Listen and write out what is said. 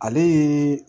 Ale ye